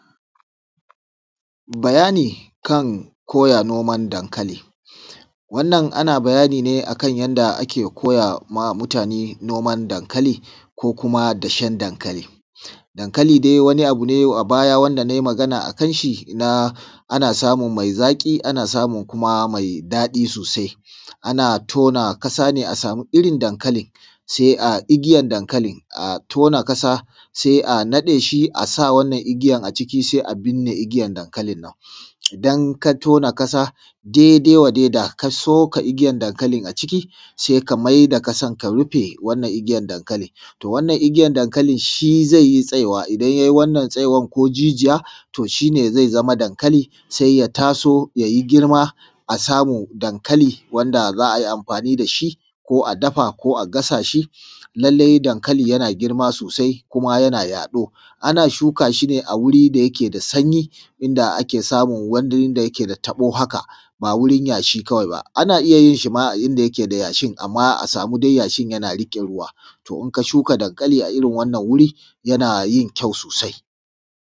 Bayani kan koya noman dankali wannan ana bayani ne akan yanda ake koya wa mutane noman dankali, ko kuma dashen dankali. Dankali dai wani abu ne a baya wanda na yi magana a kan shi, ana samun mai zaƙi, ana samun kuma mai daɗi sosai, ana tona ƙasa ne, a samu irin dankali, sai a igiyan dankalin, a tona ƙasa sai a naɗe shi, a sa wannan igiyan a ciki, sai a binne igiyan dankalin nan. Idan ka tona ƙasa daidai wa daidai, ka soka igiyan dankalin a ciki, sai ka mai da ƙasa, ka rufe wannan igiyan dankalin. to, wannan igiyan dankalin shi zai tsaiwa idan yai wannan tsaiwan, ko jijiya, to shi ne zai zama dankali. Sai ya taso, ya yi girma, a samu dankali, wanda za a yi amfani da shi, ko a dafa, ko a gasa shi. Lallai, dankali yana girma sosai, kuma yana yaɗo ana shuka shi ne a wuri da yake da sanyi, inda ake samun inda yake da tabo. Haka ba wurin yashi kawai ba, ana iya yin shi ma a inda yake da yashi, amma dai a samu yashin yana riƙe ruwa, to, in ka shuka dankali a irin wannan wuri, yana yin kyawu sosai.